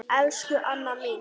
Elsku Anna mín.